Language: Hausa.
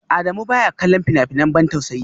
Adamu baya kallon fina-finan ban tausayi